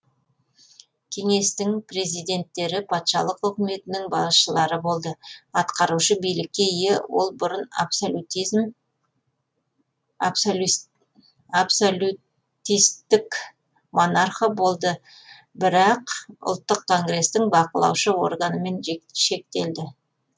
кеңестің президенттері патшалық үкіметінің басшылары болды атқарушы билікке ие ол бұрын абсолютистік монархы болды бірақ ұлттық конгрестің бақылаушы органымен шектелді